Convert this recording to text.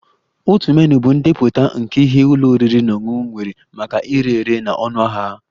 Otu menu bụ ndepụta nke ihe ụlọ oriri na ọṅụṅụ nwere maka ire ere na ọnụahịa ha